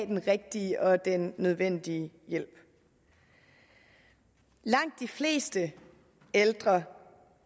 den rigtige og den nødvendige hjælp langt de fleste ældre